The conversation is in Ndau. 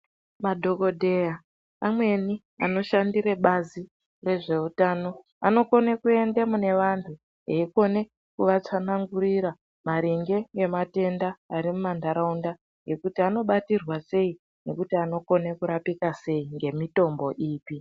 Madhokodheya amweni anoshandire bazi rezveutano anokone kuende munevana eikone kuatsanangurira maringe ngematenda arimumantaraunda ekuti anotirwa sei nekuti anokone kurapika sei nemitombo ipi.